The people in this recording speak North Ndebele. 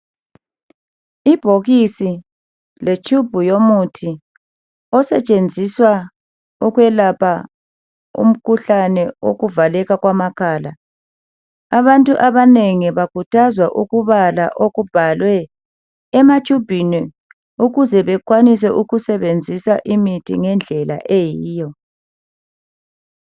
Ibhokisi le tube yomuthi osetshenziswa ukwelapha umkhuhlane wokuvaleka kwamakhala abantu abanengi bakhuthazwa ukubala okubhalwe ematshubhini ukuze bekwanise ukusebenzisa imithi ngendlela eyiyo.